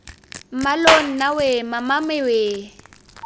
mmaloo nna weee mamame weee